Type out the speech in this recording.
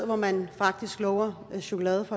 hvor man faktisk lover chokolade